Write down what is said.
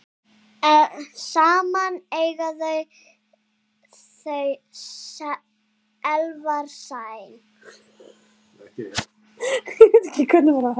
Saman eiga þau Elvar Snæ.